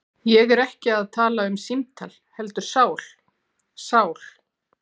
Ég er ekki að tala um símtal heldur sál. sál